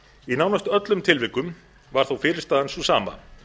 í nánast öllum tilvikum var þó niðurstaðan sú sama